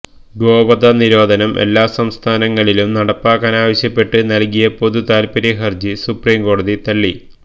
ഗോവധ നിരോധനം എല്ലാ സംസ്ഥാനങ്ങളിലും നടപ്പാക്കാനാവശ്യപ്പെട്ട് നല്കിയ പൊതു താല്പര്യ ഹര്ജി സുപ്രീം കോടതി തള്ളി